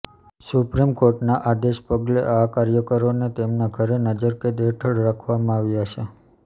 સુપ્રીમકોર્ટના આદેશને પગલે આ કાર્યકરોને તેમના ઘરે નજરકેદ હેઠળ રાખવામાં આવ્યા છે